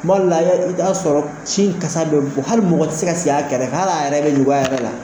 Kumado la a y'a i bɛ ta sɔrɔ sin kasa bɛ bɔ hali mɔgɔ tɛ se ka sigi a kɛrɛ hali a yɛrɛ bɛ ɲugun a yɛrɛ la.